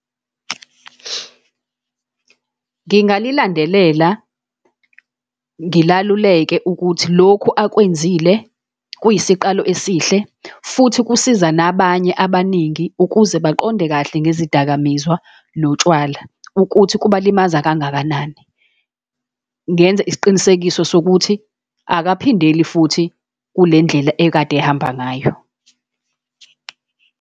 Ngingalilandelela, ngilaluleke ukuthi lokhu akwenzile kuyisiqalo esihle, futhi kusiza nabanye abaningi ukuze baqonde kahle ngezidakamizwa notshwala, ukuthi kuba limaza kangakanani. Ngenze isiqinisekiso sokuthi akaphindeli futhi kule ndlela ekade ehamba ngayo.